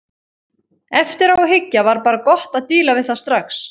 Eftir á að hyggja var bara gott að díla við það strax.